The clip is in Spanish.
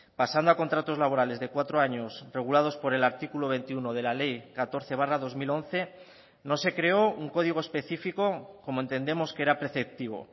pasando a contratos laborales de cuatro años regulados por el artículo veintiuno de la ley catorce barra dos mil once no se creó un código especifico como entendemos que era preceptivo